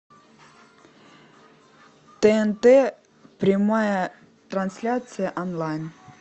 тнт прямая трансляция онлайн